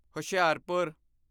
Hoshiarpur